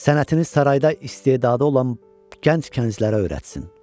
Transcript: Sənətini sarayda istedadı olan gənc kəncilərə öyrətsin.